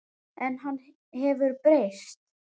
En hann hefur breyst.